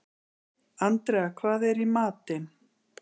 Andrea, hvað er í matinn?